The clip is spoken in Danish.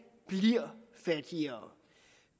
bliver fattigere